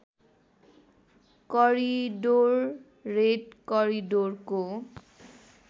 corridor red करिडोरको